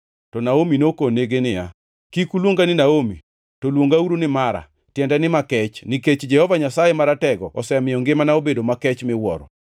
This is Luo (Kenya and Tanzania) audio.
To Naomi nokonegi niya, “Kik uluonga ni Naomi, to luongauru ni Mara (tiende ni Makech), nikech Jehova Nyasaye Maratego osemiyo ngimana obedo makech miwuoro.